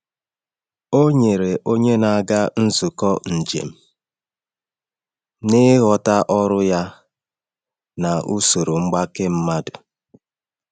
Ọ nyere onye na-aga nzukọ njem, n’ịghọta ọrụ ya na usoro mgbake mmadụ.